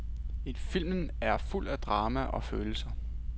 Filmen er fuld af drama og følelser.